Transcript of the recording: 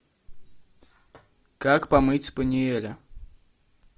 как помыть спаниеля